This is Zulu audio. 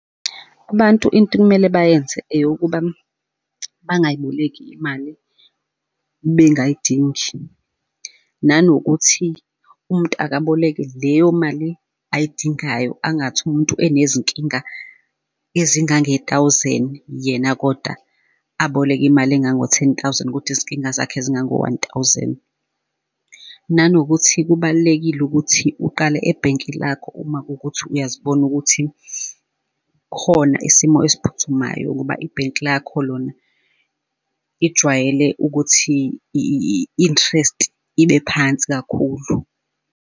Abantu into okumele bayenze eyokuba, bangayibalekeli imali bengayidingi, nanokuthi umuntu akaboleke leyo mali ayidingayo, angathi umuntu enezinkinga ezingange-thousand yena koda aboleke imali engango-ten thousand kodwa izinkinga zakhe zingango-one thousand. Nanokuthi kubalulekile ukuthi uqale ebhenki lakho uma kuwukuthi uyazibona ukuthi khona isimo esiphuthumayo ukuba ibhenki lakho lona lijwayele ukuthi i-interest ibe phansi kakhulu.